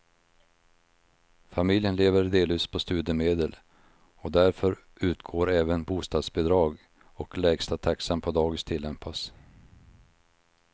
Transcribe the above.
Familjen lever delvis på studiemedel och därför utgår även bostadsbidrag och lägsta taxan på dagis tillämpas.